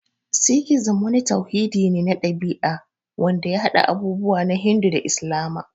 Sikhizim wani tauhidi ne na ɗabi'a wanda ya haɗa abubuwa na Hindu da Islama.